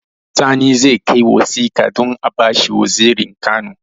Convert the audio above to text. Sani zai kai wasika don abashi wazirin kano